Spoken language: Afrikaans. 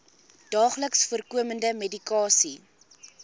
daagliks voorkomende medikasie